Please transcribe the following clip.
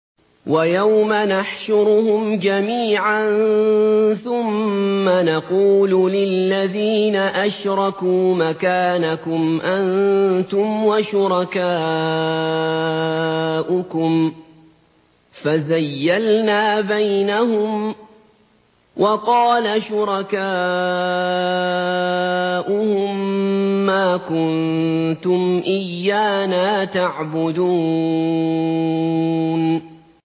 وَيَوْمَ نَحْشُرُهُمْ جَمِيعًا ثُمَّ نَقُولُ لِلَّذِينَ أَشْرَكُوا مَكَانَكُمْ أَنتُمْ وَشُرَكَاؤُكُمْ ۚ فَزَيَّلْنَا بَيْنَهُمْ ۖ وَقَالَ شُرَكَاؤُهُم مَّا كُنتُمْ إِيَّانَا تَعْبُدُونَ